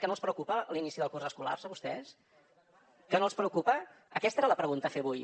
que no els preocupa l’inici del curs escolar a vostès que no els preocupa aquesta era la pregunta a fer avui